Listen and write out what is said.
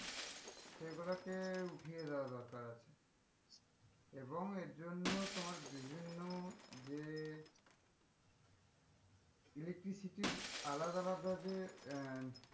এই গুলোকে উঠিয়ে দেওয়া দরকার আছে এবং এর জন্য তোমার বিভিন্ন যে electricity এর আলাদা আলাদা যে আহ